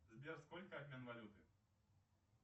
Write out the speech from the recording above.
сбер сколько обмен валюты